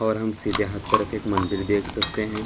और हम सीधे हाथ तरफ एक मंदिर देख सकते हैं।